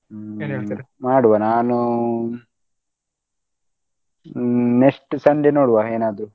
ಹ್ಮ್ ಮಾಡುವ ನಾನೂ ಹ್ಮ್ next Sunday ನೋಡುವ ಏನಾದ್ರೂ.